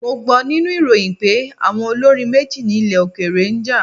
Mo gbọ́ nínú ìròyìn pé àwọn olórin méjì nílẹ̀ òkèèrè ń jà.